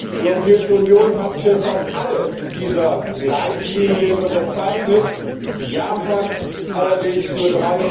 Die Europäische Union hat fast alle dieser Leitlinien unterzeichnet, Japan allerdings nur